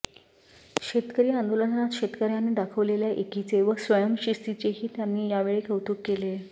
शेतकरी आंदोलनात शेतकऱयांनी दाखवलेल्या एकीचे व स्वयंशिस्तीचेही त्यांनी यावेळी कौतुक केले